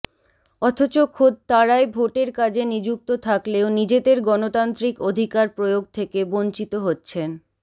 অথচ খোদ তাঁরাই ভোটের কাজে নিযুক্ত থাকলেও নিজেদের গণতান্ত্রিক অধিকার প্রয়োগ থেকে বঞ্চিত হচ্ছেন